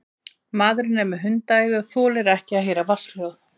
Maðurinn er með hundaæði og þolir ekki að heyra vatnshljóð.